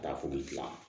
Ka taa foli gilan